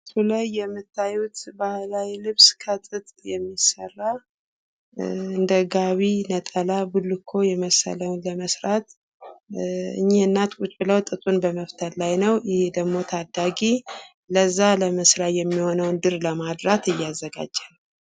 በምስሉ ላይ የምታዩት ባህላዊ ልብስ ከጥጥ የሚሰራ እንደ ጋቢ ነጠላ ቡልኮ የመሰለውን ለመስራት እኒህ እናት ቁጭ ብለው ጥጡን በመፍተል ላይ ነው ። ይህ ደግሞ ታዳጊ ለዛ ለመስሪያ የሚሆነውን ድር ለማድራት እያዘጋጀ ነው።